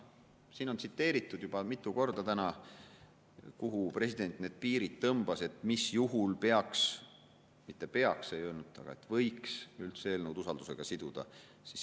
Siin on täna juba mitu korda tsiteeritud, kuhu president selle piiri tõmbas, mis juhul peaks, või, õigemini, mitte "peaks" ei öelnud ta, vaid mis juhul võiks üldse eelnõu usaldusega siduda.